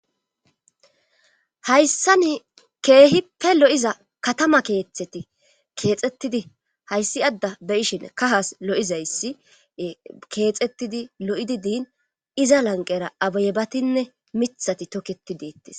hayssani keehipe lo'iza katama keeththeti keexxettidi hayssi adda be'ishin kahas lo'izayssi keexettidi lo'idi diin iza lanqera abayebatinne mithati toketi dettes